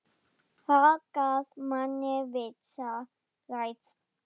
Það gaf manni vissa reisn.